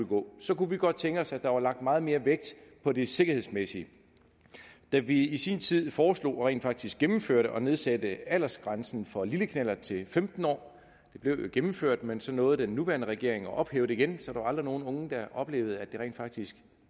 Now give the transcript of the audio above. gå så kunne vi godt tænke os at der var lagt meget mere vægt på det sikkerhedsmæssige da vi i sin tid foreslog og rent faktisk gennemførte at nedsætte aldersgrænsen for lille knallert til femten år blev det gennemført men så nåede den nuværende regering at ophæve det igen så der var aldrig nogle unge der oplevede at det rent faktisk